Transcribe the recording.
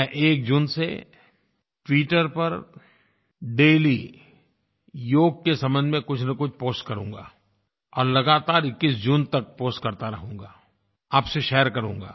मैं 01 जून से ट्विटर पर डेली योग के संबंध में कुछनकुछ पोस्ट करूँगा और लगातार 21 जून तक पोस्ट करता रहूँगा आप से शेयर करूँगा